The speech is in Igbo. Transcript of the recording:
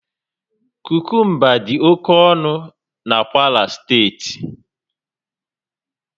Kukumba dị oke ọnụ na Kwara steeti